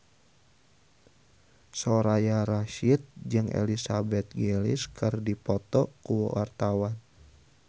Soraya Rasyid jeung Elizabeth Gillies keur dipoto ku wartawan